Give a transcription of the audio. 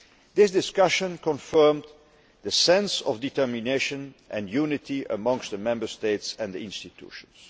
This discussion confirmed the sense of determination and unity amongst the Member States and the institutions.